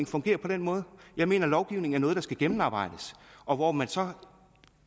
fungere på den måde jeg mener at lovgivning er noget der skal være gennemarbejdet og hvor man tager